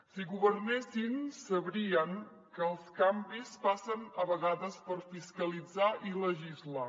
si governessin sabrien que els canvis passen a vegades per fiscalitzar i legislar